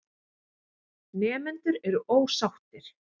Nemendur eru ósáttir.